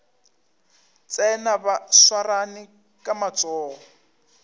tsena ba swarane ka matsogo